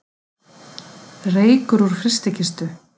Reykur úr frystikistu